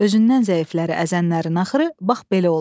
Özündən zəifləri əzənlərin axırı bax belə olar.